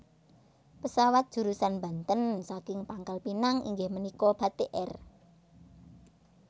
Pesawat jurusan Banten saking Pangkal Pinang inggih menika Batik Air